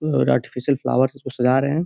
और artificial flower से इसको सजा रहे हैं।